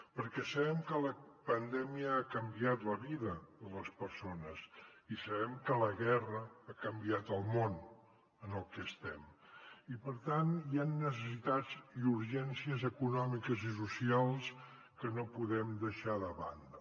perquè sabem que la pandèmia ha canviat la vida de les persones i sabem que la guerra ha canviat el món en el que estem i per tant hi han necessitats i urgències econòmiques i socials que no podem deixar de banda